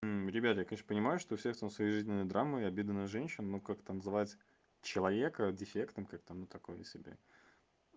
ребята я конечно понимаю что у всех там свои жизненные драмы и обиды на женщин но как-то называть человека дефектом как-то ну такое себе